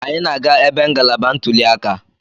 Anyị na-aga ebe ngalaba ntuli aka.